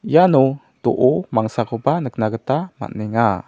iano do·o mangsakoba nikna gita man·enga.